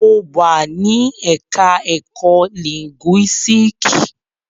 Mo wà ní ẹ̀ka ẹ̀kó lìńgúísíìkì.